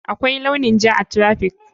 Akwai launin ja a traffic.